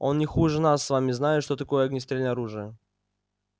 он не хуже нас с вами знает что такое огнестрельное оружие